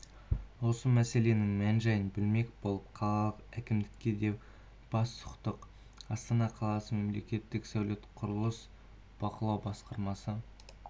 осы мәселенің мән-жайын білмек болып қалалық әкімдікке де бас сұқтық астана қаласы мемлекеттік сәулет-құрылыс бақылау басқармасы